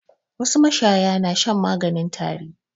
Wasu mashaya na shan maganin tari.